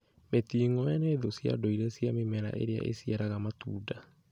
Mĩting'oe nĩ thũ cia ndũire cia mĩmera ĩrĩa ĩciaraga matunda.